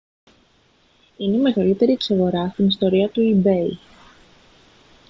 είναι η μεγαλύτερη εξαγορά στην ιστορία του ebay